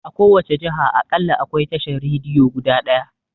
A kowace jiha aƙalla akwai tashan Rediyo guda ɗaya